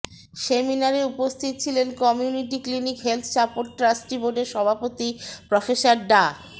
সেমিনারে উপস্থিত ছিলেন community clinic health support trustee বোর্ডের সভাপতি প্রফেসর ডা